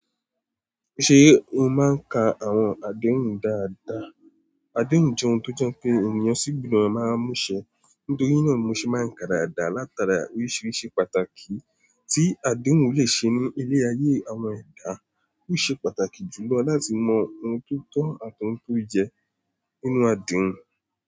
Ṣe o maa n ka awọn adehun daadaa? Adehun jẹ ohun tó jẹ́ pé ènìyàn sì gbudọ máa mú ṣẹ. Nítorí náà, mo ṣe máa n ka dàda látara oríṣiríṣi pàtàkì tí adehun le ṣe ní ilé-ayé àwọn ẹ̀dá. Ó ṣe pàtàkì jùlọ láti mọ ohun tó tọ́ àti ohun tó yẹ nínú adehun.